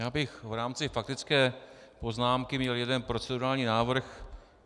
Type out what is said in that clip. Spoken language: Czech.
Já bych v rámci faktické poznámky měl jeden procedurální návrh.